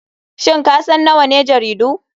Shin kasan nawane jaridu?